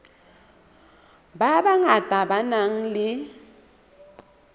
ba bangata ba nang le